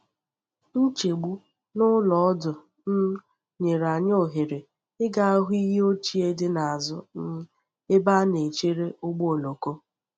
Nchegbu n’ụlọ ọdụ um nyere anyị ohere ịga hụ iyi ochie dị n’azụ um ebe a na-echere ụgbọ oloko.